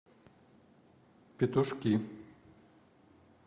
петушки